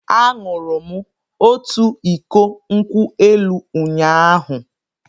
Aṅụrụ m otu iko nkwụ elụ ụnyahụ.